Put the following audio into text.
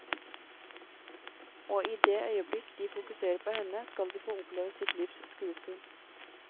Og i det øyeblikk de fokuserer på henne, skal de få oppleve sitt livs skuespill.